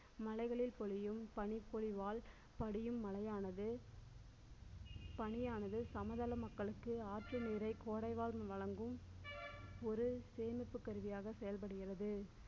மலைகளில் பொழியும் பனிப்பொழிவால் படியும் மழையானது பனியானது, சமதள மக்களுக்கு ஆற்று நீரை கோடைவால் வழங்கும் ஒரு சேமிப்பு கருவியாக செயல்படுகிறது.